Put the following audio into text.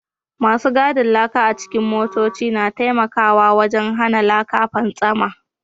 Masu gadin laka a cikin motoci na taimakawa wajen hana laka fantsama